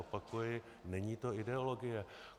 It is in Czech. Opakuji, není to ideologie.